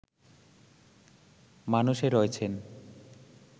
মানুষে রয়েছেন